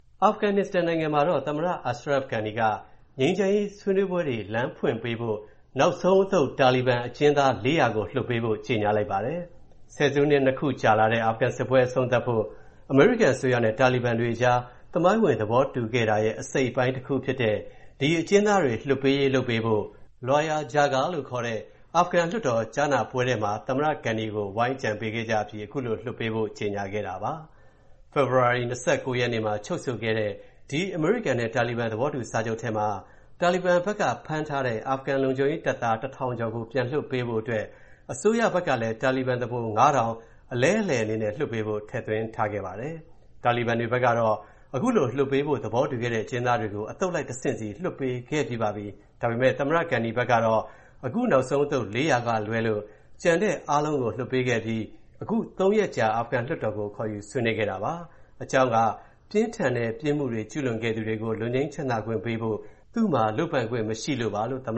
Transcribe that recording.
အာဖဂန်နစ္စတန်နိုင်ငံမှာ သမ္မတ Ashraf Ghani က ငြိမ်းချမ်းရေးဆွေးနွေးပွဲတွေ လမ်းဖွင့်ပေးဖို့ နောက်ဆုံးအသုတ် တာလီဘန်အကျဉ်းသား ၄၀၀ ကို လွှတ်ပေးဖို့ ကြေညာလိုက်ပါတယ်။ ဆယ်စုနှစ် ၂ ခုကြာလာတဲ့ အာဖဂန်စစ်ပွဲ အဆုံးသတ်ဖို့ အမေရိကန်အစိုးရနဲ့ တာလီဘန်တွေအကြား သမိုင်းဝင် သဘောတူခဲ့တာရဲ့ အပိုင်းတခုဖြစ်တဲ့ ဒီအကျဉ်းသားတွေ လွှတ်ပေးရေး လုပ်ပေးဖို့၊ Loya Jirga လို့ခေါ်တဲ့ အာဖဂန်လွှတ်တော် ကြားနာပွဲထဲမှာ သမ္မတ Ghani ကို ဝိုင်းအကြံပေးခဲ့ကြအပြီး ခုလို လွှတ်ပေးဖို့ ကြေညာခဲ့တာပါ။ ဖေဖော်ဝါရီ ၂၉ ရက်မှာ ချုပ်ဆိုခဲ့တဲ့ အမေရိကန်နဲ့ တာလီဘန် သဘောတူစာချုပ်ထဲမှာ တာလီဘန်ဘက်က ဖမ်းထားတဲ့ အာဖဂန်လုံခြုံရေးတပ်သား ၁,၀၀၀ ကျော် ပြန်လွှတ်ပေးဖို့အတွက် အစိုးရဘက်ကလည်း တာလီဘန်သူပုန် ၅,၀၀၀ အလဲအလှယ်အနေနဲ့ လွှတ်ပေးဖို့ ထည့်သွင်းထားခဲ့ပါတယ်။ တာလီဘန်တွေဘက်ကတော့ လွှတ်ဖို့ သဘောတူခဲ့တဲ့ အကျဉ်းသားတွေကို အသုတ်လိုက် တဆင့်စီ လွှတ်ပေးခဲ့ပြီးပါပြီ။ ဒါပေမယ့် သမ္မတ Ghahi ဘက်ကတော့ အခု နောက်ဆုံးအသုတ် ၄၀၀ ကလွဲလို့ ကျန်တဲ့အားလုံးကို လွှတ်ပေးခဲ့ပြီး အခု ၃ ရက်ကြာ အာဖဂန်လွှတ်တော်ကို ခေါ်ယူဆွေးနွေးခဲ့တာပါ။ အကြောင်းက ပြင်းထန်တဲ့ ပြစ်မှုတွေ ကျူးလွန်ခဲ့သူတွေကို လွတ်ငြိမ်းချမ်းသာခွင့်ပေးဖို့ သူ့မှာ လုပ်ပိုင်ခွင့်မရှိလို့ပါလို့ သမ္